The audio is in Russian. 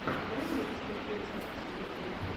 дай мне посмотреть записи ютьюб